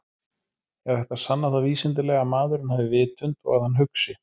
Er hægt að sanna það vísindalega að maðurinn hafi vitund og að hann hugsi?